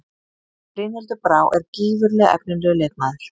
Brynhildur Brá er gífurlega efnilegur leikmaður.